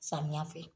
Samiya fɛ